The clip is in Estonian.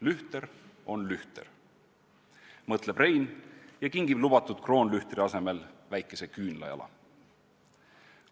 Lühter on lühter, mõtleb Rein ja kingib lubatud kroonlühtri asemel väikese küünlajala.